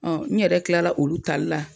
n yɛrɛ kilala olu tali la